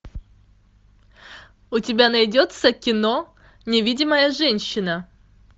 у тебя найдется кино невидимая женщина